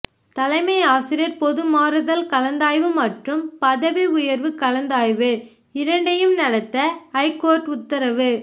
தலைமை ஆசிரியர் பொதுமாறுதல் கலந்தாய்வு மற்றும் பதவி உயர்வு கலந்தாய்வு இரண்டையும் நடத்த ஐகோர்ட் உத்தரவு